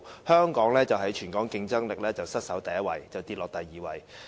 香港的全球競爭力失守第一位，下跌至第二位。